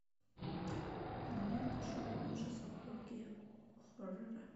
кинолента шоу ужасов рокки хоррора